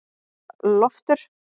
Loftur